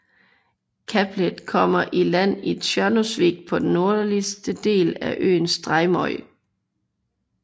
Kablet kommer i land i Tjørnuvík på den nordlige del af øen Streymoy